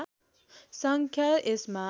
सङ्ख्या यसमा